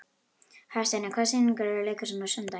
Hafsteina, hvaða sýningar eru í leikhúsinu á sunnudaginn?